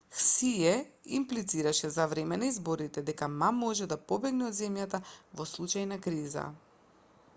хсие имплицираше за време на изборите дека ма може да побегне од земјата во случај на криза